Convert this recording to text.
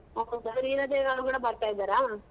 ಹೀರದೇವಿ ಅವ್ರು ಕೂಡ ಬರ್ತಾ ಇದಾರಾ?